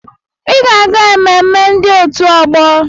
Ịga aga-ememme ndị òtù ọgbọ!